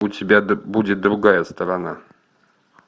у тебя будет другая сторона